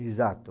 Exato.